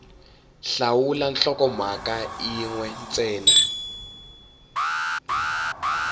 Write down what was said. hlawula nhlokomhaka yin we ntsena